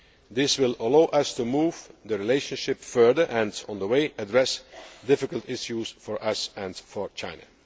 This will allow us to move the relationship further and on the way address difficult issues for us and for China.